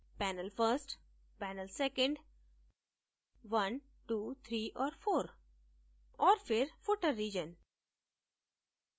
panel first panel second 123 और 4 और फिर footer region